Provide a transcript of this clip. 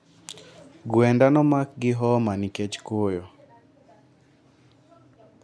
Gwenda nomak gi homa nikech koyo